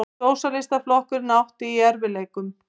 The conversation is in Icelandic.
Sósíalistaflokkurinn átti í erfiðleikum.